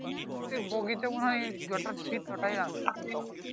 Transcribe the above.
প্রত্যেক বগি তে মনে হয় যটা seat তোটাই